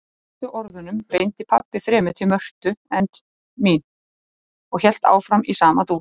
Síðustu orðunum beindi pabbi fremur til Mörtu en mín og hélt áfram í sama dúr